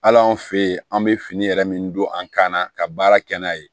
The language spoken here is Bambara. Hali anw fe yen an be fini yɛrɛ min don an kan na ka baara kɛ n'a ye